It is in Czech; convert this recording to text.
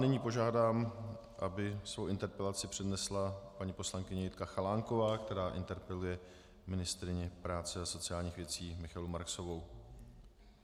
Nyní požádám, aby svou interpelaci přednesla paní poslankyně Jitka Chalánková, která interpeluje ministryni práce a sociálních věcí Michaelu Marksovou.